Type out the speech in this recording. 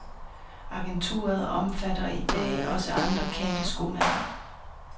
Agenturet omfatter i dag også andre kendte skomærker.